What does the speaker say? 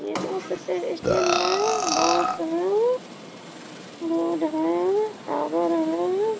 ये बस से स्टैंड है बस है रोड है टावर है।